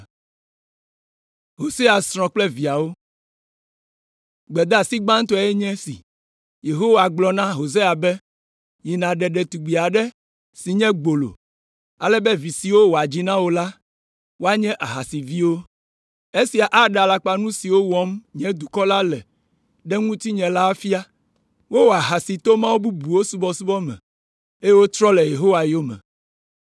Gbedeasi gbãtɔe nye esi: Yehowa gblɔ na Hosea be, “Yi nàɖe ɖetugbi aɖe si nye gbolo, ale be vi siwo wòadzi na wò la, woanye ahasiviwo. Esia aɖe alakpanu siwo wɔm nye dukɔ la le ɖe ŋutinye la afia, wowɔ ahasi to mawu bubuwo subɔsubɔ me, eye wotrɔ le Yehowa yome.”